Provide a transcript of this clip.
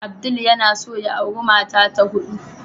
Abdul yana son ya auri mata ta hudu.